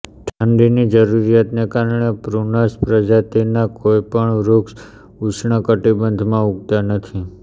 ઠંડીની જરૂરિયાતને કારણે પ્રૂનસ પ્રજાતિના કોઈ પણ વૃક્ષ ઉષ્ણ કટિબંધમાં ઉગતાં નથી